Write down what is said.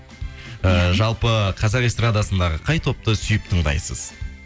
э жалпы қазақ эстрадасындағы қай топты сүйіп тыңдайсыз